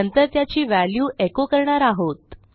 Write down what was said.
नंतर त्याची व्हॅल्यू एचो करणार आहोत